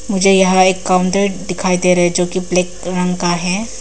मुझे यहां एक काउंटर दिखाई दे रहा है जो की ब्लैक रंग का है।